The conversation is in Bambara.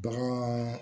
Bagan